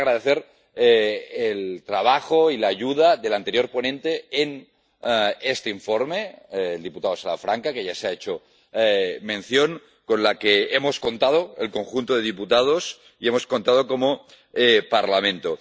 También agradecer el trabajo y la ayuda del anterior ponente de este informe, el diputado Salafranca, que ya se ha mencionado y con la que hemos contado el conjunto de diputados y hemos contado como Parlamento.